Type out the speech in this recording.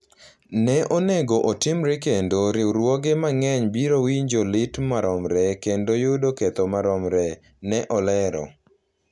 Ne onego otimre kendo riwruoge mang’eny biro winjo lit maromre kendo yudo ketho maromre, ne olero.